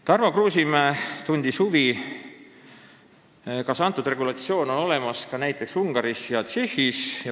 Tarmo Kruusimäe tundis huvi, kas selline regulatsioon on olemas ka näiteks Ungaris ja Tšehhis.